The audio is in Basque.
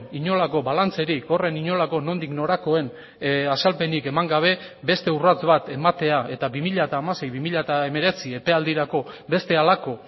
inolako balantzerik horren inolako nondik norakoen azalpenik eman gabe beste urrats bat ematea eta bi mila hamasei bi mila hemeretzi epealdirako beste halako